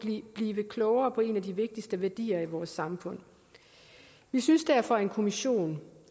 blive klogere på en af de vigtigste værdier i vores samfund vi synes derfor at en kommission